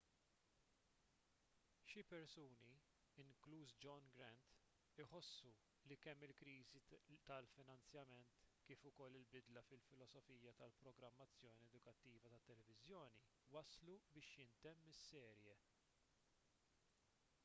xi persuni inkluż john grant iħossu li kemm il-kriżi tal-finanzjament kif ukoll bidla fil-filosofija tal-programmazzjoni edukattiva tat-televiżjoni wasslu biex jintemm is-serje